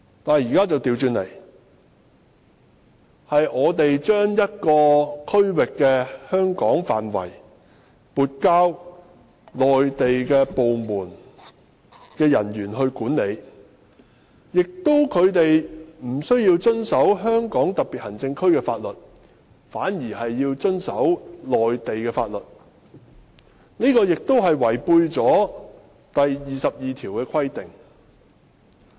可是，現在卻恰好相反，是香港將某個區域撥交內地相關部門的人員管理，而他們無須遵守香港特別行政區的法律，只須遵守內地法律，這亦違反了《基本法》第二十二條的規定。